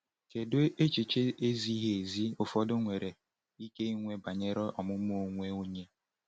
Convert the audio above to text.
Kedu echiche ezighi ezi ụfọdụ nwere ike inwe banyere ọmụmụ onwe onye?